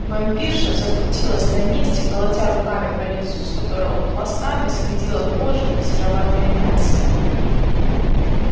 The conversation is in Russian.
вампирша закрутилась на месте колотя руками по лицу с которого пластами сходила кожа и сероватое мясо